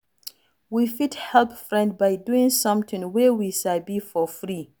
We fit help friend by doing something wey we sabi for free